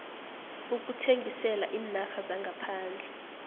ukuthengisela iinarha zangaphandle